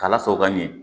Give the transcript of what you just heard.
K'a lasago ka ɲɛ